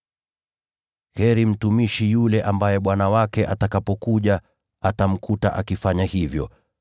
Heri mtumishi yule ambaye bwana wake atakaporudi atamkuta akifanya hivyo.